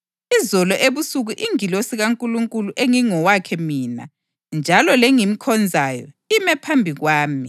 Izolo ebusuku ingilosi kaNkulunkulu engingowakhe mina njalo lengimkhonzayo ime phambi kwami